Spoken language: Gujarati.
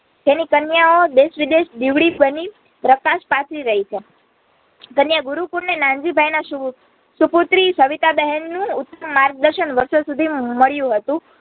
તેની કન્યાનો દેશવિદેશ દિવળી બની પ્રકાશ પથરી રહી છે. કન્યાગુરુકુળની નાનજીભાઈના સુપુત્રી સવિતાબહેનનું માર્ગદર્શન વારસોસુદી મળ્યું હતું